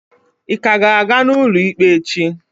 Ịka ga-aga n'ụlọ ikpe echi?